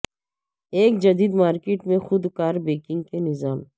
ایک جدید مارکیٹ میں خودکار بینکنگ کے نظام